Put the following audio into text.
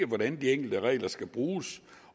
hvordan de enkelte regler skal bruges